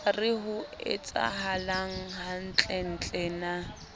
re ho etsahalang hantlentle na